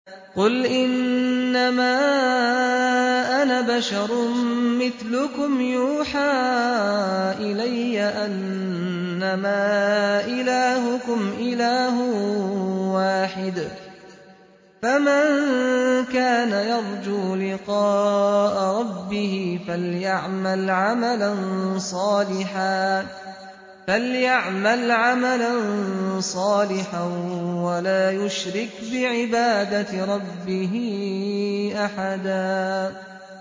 قُلْ إِنَّمَا أَنَا بَشَرٌ مِّثْلُكُمْ يُوحَىٰ إِلَيَّ أَنَّمَا إِلَٰهُكُمْ إِلَٰهٌ وَاحِدٌ ۖ فَمَن كَانَ يَرْجُو لِقَاءَ رَبِّهِ فَلْيَعْمَلْ عَمَلًا صَالِحًا وَلَا يُشْرِكْ بِعِبَادَةِ رَبِّهِ أَحَدًا